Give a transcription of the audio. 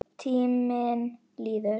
Tíminn líður.